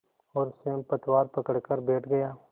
और स्वयं पतवार पकड़कर बैठ गया